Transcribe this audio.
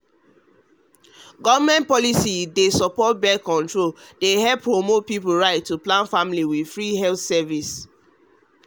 government policy wey wey dey support birth control dey help promote people rights to plan family with free health service.